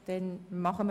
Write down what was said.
– Das ist der Fall.